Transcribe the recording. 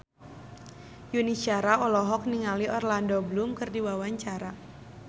Yuni Shara olohok ningali Orlando Bloom keur diwawancara